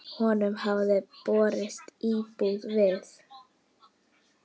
Honum hafði boðist íbúð við